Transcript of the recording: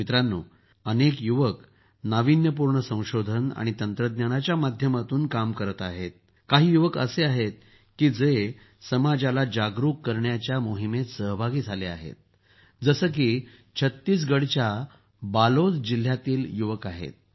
मित्रांनो अनेक युवक नाविन्यपूर्ण संशोधन आणि तंत्रज्ञानाच्या माध्यमातून काम करत आहेत तर काही युवक असे आहेत की जे समाजाला जागरूक करण्याच्या मोहिमेत सहभागी झाले आहेत जसे की छत्तीसगढच्या बालोद जिल्ह्यातील युवक आहेत